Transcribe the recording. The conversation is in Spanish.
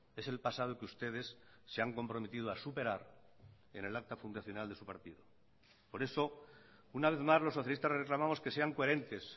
es el pasado que ustedes se han comprometido a superar en el acta fundacional de su partido por eso una vez más los socialistas reclamamos que sean coherentes